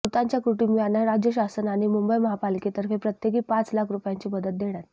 मृतांच्या कुटुंबियांना राज्य शासन आणि मुंबई महापालिकेतर्फे प्रत्येकी पाच लाख रुपयांची मदत देण्यात